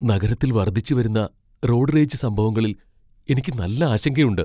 നഗരത്തിൽ വർദ്ധിച്ചുവരുന്ന road rage സംഭവങ്ങളിൽ എനിക്ക് നല്ല ആശങ്കയുണ്ട് .